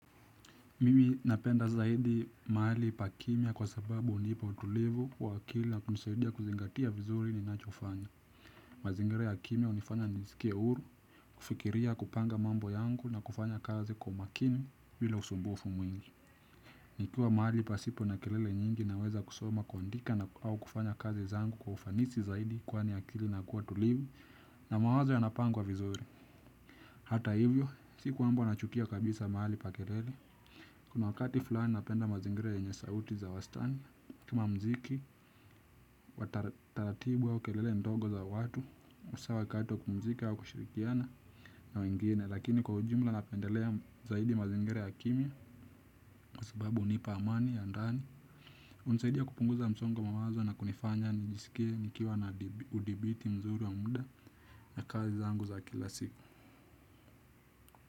Mimi napenda zaidi mahali pakimya kwa sababu unipa utulivu wa akili na kunisaidia kuzingatia vizuri ni nachofanya. Mazingira ya kimia unifanya niskie huru, kufikiria kupanga mambo yangu na kufanya kazi kwa makini vila usumbufu mwingi. Nikiwa mahali pasipo na kelele nyingi naweza kusoma, kuandika au kufanya kazi zangu kwa ufanisi zaidi kwani akili inakuwa tulivu na mawazo yanapangwa vizuri. Hata hivyo, siku kwamba nanachukia kabisa mahali pa kelele, kuna wakati fulani napenda mazingere yenye sauti za wastani, kama mziki, wataratibu au kelele ndogo za watu, usawa wakati kupumzika au kushirikiana na wengine, lakini kwa ujimla napendelea zaidi mazingara ya kimia, kwababu unipa amani ya ndani, hunsaidia kupunguza msongo wa mawazo na kunifanya nijiskie nikiwa na udhibiti mzuri wa muda na kazi zangu za kila siku.